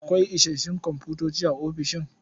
Akwai isassun komfutoci a ofishin?